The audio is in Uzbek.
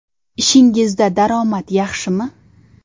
Ishingizda daromad yaxshimi?